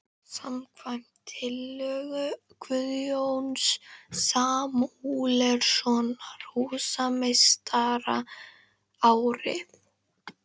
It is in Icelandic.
. samkvæmt tillögu Guðjóns Samúelssonar húsameistara árið